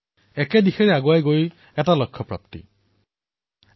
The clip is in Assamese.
এটা দিশ আগুৱাই আছে আৰু এটাই লক্ষ্য প্ৰাপ্ত কৰিব লাগে